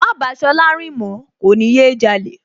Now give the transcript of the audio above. Má bàá Ṣọlá rìn mọ̀ọ́, kò ní yé jalè